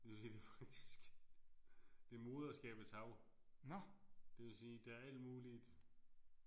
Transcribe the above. Men det er faktisk det er moderskabets hav. Det vil sige der er alt muligt